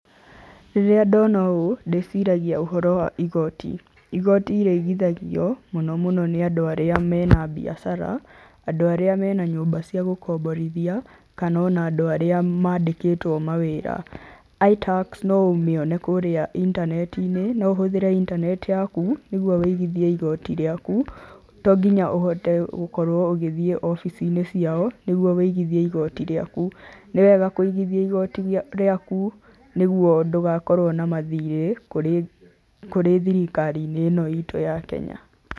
Rĩrĩa ndona ũũ ndĩciragia ũhoro wa igoti, igoti rĩigithagio mũno mũno nĩ andũ arĩa marĩ na biacara, andũ arĩa mena nyũmba cia gũkomborithia kana ona andũ arĩa mandĩkĩtwo mawĩra. iTax, no ũmĩone kũrĩa intaneti-inĩ, no ũhũthĩre intaneti yaku nĩguo wũigithie igoti rĩaku, to nginya ũhote gũkorwo ũgĩthiĩ wobici-inĩ ciao nĩguo wĩigithie igoti rĩaku. Nĩwega kũigithia igoti rĩaku nĩguo ndũgakorwo na mathirĩ kũrĩ thirikari-inĩ ĩno itũ ya Kenya.